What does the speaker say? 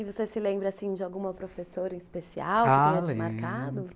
E você se lembra, assim, de alguma professora em especial que tenha te marcado?